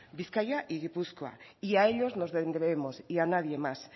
bizkaia y gipuzkoa y a ellos nos debemos y a nadie más